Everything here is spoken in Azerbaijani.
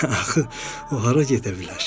Axı o hara gedə bilər?